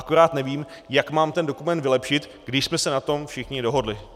Akorát nevím, jak mám ten dokument vylepšit, když jsme se na tom všichni dohodli.